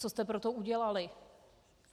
Co jste pro to udělali?